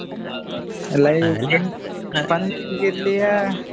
fun ಆಗಿ ಇರ್ಲಿಯಾ?